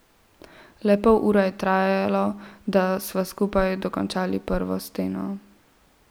Le pol ure je trajalo, da sva skupaj dokončali prvo steno.